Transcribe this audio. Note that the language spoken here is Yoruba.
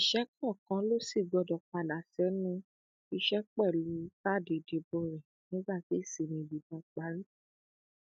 òṣìṣẹ kọọkan ló sì gbọdọ padà sẹnu iṣẹ pẹlú káàdì ìdìbò rẹ nígbà tí ìsinmi yìí bá parí